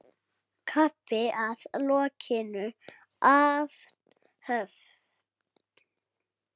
Kaffi að lokinni athöfn.